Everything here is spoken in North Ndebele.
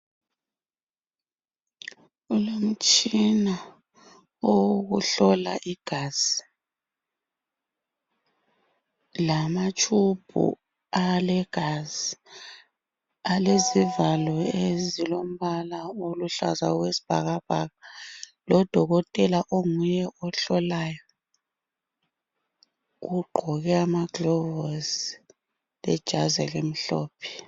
Umtshina owokuhlola igazi lamatshubhu alegazi alezivalo ezilombala oluhlaza okwesibhakabhaka lodokotela onguye ohlolayo ogqoke amaglovosi lejazi elimhlophe.